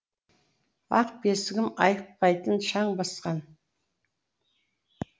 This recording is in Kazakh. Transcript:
ақ бесігім айықпайтын шаң басқан